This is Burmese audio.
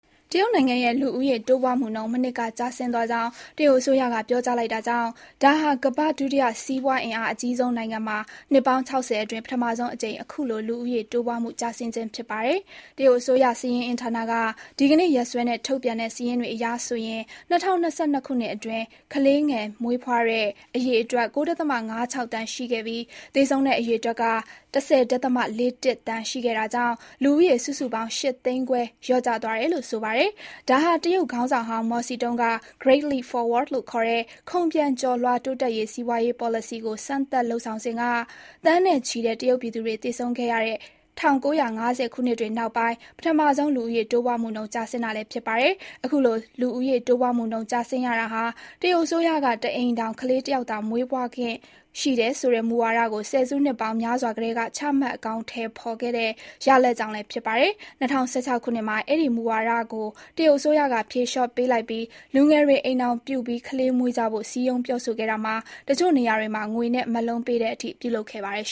တရုတ်နိုင်ငံရဲ့ လူဦးရေတိုးပွားမှု မနှစ်က ကျဆင်းသွားကြောင်း တရုတ်အစိုးရက ပြောကြားလိုက်တာကြောင့် ဒါဟာ ကမ္ဘာ့ဒုတိယ စီးပွားအင်အားအကြီးဆုံးနိုင်ငံမှာ နှစ်ပေါင်း ၆၀ အတွင်း ပထမဆုံးအကြိမ် အခုလို လူဦးရေတိုးပွားမှုကျဆင်းခြင်း ဖြစ်ပါတယ်။ တရုတ်အစိုးရ စာရင်းအင်းဌာနက ဒီကနေ့ ရက်စွဲနဲ့ ထုတ်ပြန်တဲ့ စာရင်းတွေအရ ၂၀၂၂ ခုနှစ်အတွင်း ကလေးငယ် မွေးဖွားတဲ့အရေအတွက် ၉.၅၆ သန်း ရှိခဲ့ပြီး သေဆုံးတဲ့အရေအတွက်က ၁၀.၄၁ သန်း ရှိခဲ့တာကြောင့် လူဦးရေ စုစုပေါင်း ၈ သိန်းခွဲ လျော့ကျသွားတယ်လို့ ဆိုပါတယ်။ ဒါဟာ တရုတ်ခေါင်းဆောင်ဟောင်း မော်စီတုန်းက Great Leap Forward လို့ခေါ်တဲ့ ခုန်ပျံကျော်လွှား တိုးတက်ရေး စီးပွားရေးပေါ်လစီကို စမ်းသပ်လုပ်ဆောင်စဉ်က သန်းနဲ့ချီတဲ့ တရုတ်ပြည်သူတွေ သေဆုံးခဲ့ရတဲ့ ၁၉၅၀ ခုနှစ်တွေနောက်ပိုင်း ပထမဆုံး လူဦးရေကျဆင်းတာလည်း ဖြစ်ပါတယ်။ လူဦးရေတိုးပွားမှုနှုန်း ကျဆင်းရတာဟာ တရုတ်အစိုးရက တအိမ်ထောင် ကလေးတယောက်သာ မွေးခွင့်ရှိတယ်ဆိုတဲ့ မူဝါဒကို ဆယ်စုနှစ်ပေါင်းများစွာကတည်း ချမှတ်အကောင်အထည်ဖော်ခဲ့တဲ့ ရလဒ်ကြောင့်လည်း ဖြစ်ပါတယ်။ ၂၀၁၆ ခုနှစ်မှာ အဲဒီ မူဝါဒကို တရုတ်အစိုးရက ဖြေလျော့ပေးလိုက်ပြီး လူငယ်တွေ အိမ်ထောင်ပြု၊ ကလေးမွေးကြဖို့ စည်းရုံးပြောဆိုခဲ့တာမှာ တချို့နေရာတွေမှာ ငွေနဲ့ မက်လုံးပေးတဲ့အထိ ပြုလုပ်ခဲ့ပါတယ်